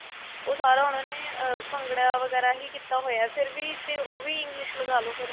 ਉਹ ਸਾਰਾ ਉਨ੍ਹਾਂ ਨੇ ਭੰਗੜਾ ਵਗੈਰਾ ਹੀ ਕੀਤਾ ਹੋਇਆ ਫ਼ਿਰ ਵੀ ਤੇ ਉਹ ਵੀ English ਲਗਾ ਲੋ ਫ਼ਿਰ